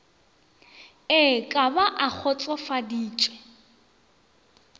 e ka ba a kgotsofaditše